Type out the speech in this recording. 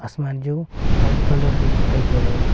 इसमें जो white colour में दिखाई दे रहे हैं।